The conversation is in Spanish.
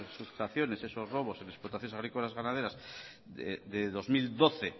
sustracciones esos robos en explotaciones agrícolas ganaderas de dos mil doce